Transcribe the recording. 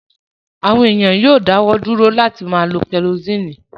Àwọn èèyàn yóò dáwọ́ dúró láti máa lo kẹrosíìnì